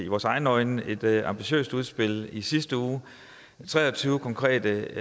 vores egne øjne med et ambitiøst udspil i sidste uge med tre og tyve konkrete